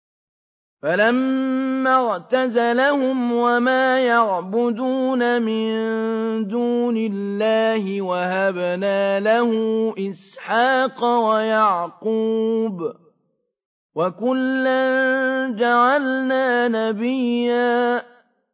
فَلَمَّا اعْتَزَلَهُمْ وَمَا يَعْبُدُونَ مِن دُونِ اللَّهِ وَهَبْنَا لَهُ إِسْحَاقَ وَيَعْقُوبَ ۖ وَكُلًّا جَعَلْنَا نَبِيًّا